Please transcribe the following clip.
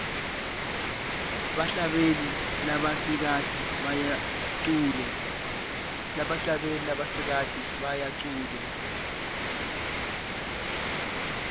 bahlabeli labasikati bayacule